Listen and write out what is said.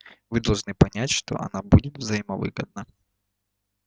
вы должны понять что она будет взаимовыгодна